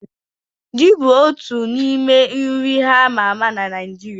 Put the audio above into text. Ji bụ otu n'ime nri a ma ama na Naịjirịa.